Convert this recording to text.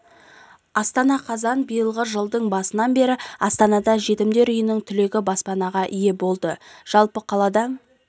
астана қазан биылғы жылдың басынан бері астанада жетімдер үйінің түлегі баспанаға ие болды жалпы қалада